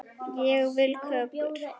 Ég vil kökur.